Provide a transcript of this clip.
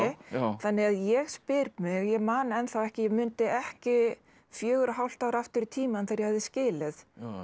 þannig að ég spyr mig ég man ennþá ekki ég mundi ekki fjögur og hálft ár aftur í tímann þegar ég hafði skilið